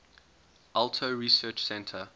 alto research center